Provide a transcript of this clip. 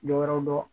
Dɔ wɛrɛw don